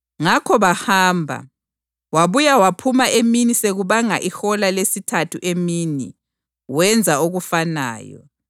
Ngakho bahamba. Wabuye waphuma emini sekubanga ihola lesithathu emini wenza okufanayo.